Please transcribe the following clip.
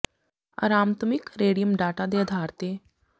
ਅਰਾਮਤਮਿਕ radius data ਦੇ ਅਧਾਰ ਤੇ ਤੱਤ ਦੇ ਅਨੁਸਾਰੀ ਅਕਾਰ ਦਰਸਾਉਣ ਵਾਲੇ ਆਵਰਤੀ ਸਾਰਣੀ